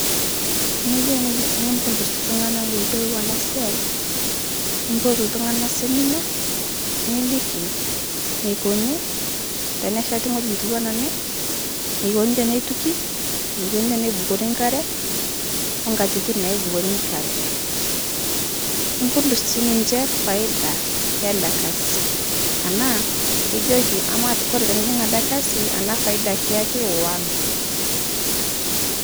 Tiniyeu neye nipudus ltung'ana meeyelou ana siai, nipotu ltung'ana semina ,niliki neikoni tenesheti ng'oji netuwana ene, nekoni teneituki, neikoni tenebukorii nkare, onkatitin naibukori nkare, nipudus sii ninche faida yiale kasi anaa ijoki amaa kore tinijing' ale kasi ana faida kiaki ona.